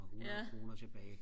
og hundrede kroner tilbage